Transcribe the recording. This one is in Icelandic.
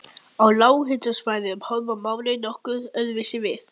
Á lághitasvæðum horfa málin nokkuð öðruvísi við.